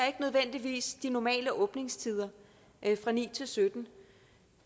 ikke nødvendigvis respekterer de normale åbningstider fra ni til syttende